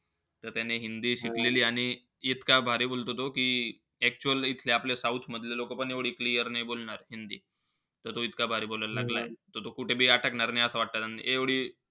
त त्याने हिंदी शिकलेलीय. आणि इतका भारी बोलतो तो की actual इथले आपले south मधले लोकपण एवढी clear नाई बोलणार हिंदी. त तो इतका भारी बोलायला लागलाय. त तो कुठेबी आटकणार नई असं वाटत त्याने.